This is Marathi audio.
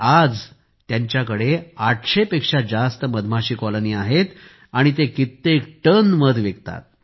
आज त्यांच्याकडे 800 पेक्षा जास्त कॉलनी आहेत आणि ते अनेक टन मध विकतात